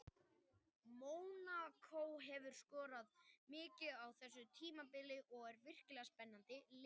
Mónakó hefur skorað mikið á þessu tímabili og er með virkilega spennandi lið.